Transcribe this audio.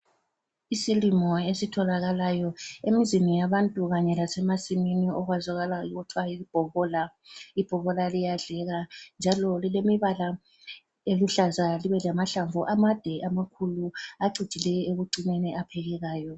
Isilimo esitholakayo emizini yabantu kanye lasemasimini okwazakala kuthwa yibhobola. Ibhobola liyadleka njalo lilemibala eluhlaza libe lamahlamvu amade amakhulu acijileyo ekucineni aphekekayo.